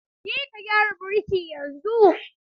Je ka gyara birki yanzu!